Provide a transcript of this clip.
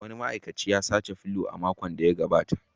Wani ma'aikacin ya saci felu a makon da ya gabata